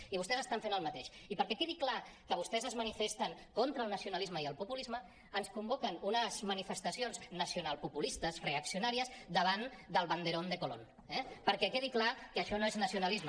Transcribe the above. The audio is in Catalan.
i vostès estan fent el mateix i perquè quedi clar que vostès es manifesten contra el nacionalisme i el populisme ens convoquen unes manifestacions nacionalpopulistes reaccionàries davant del banderón de colón eh perquè quedi clar que això no és nacionalisme